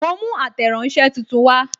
Mo mú ateranse tuntun wa